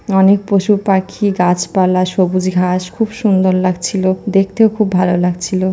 অনেক পশু পাখি গাছপালা সবুজ ঘাস খুব সুন্দর লাগছিল। দেখতেও খুব ভালো লাগছিল।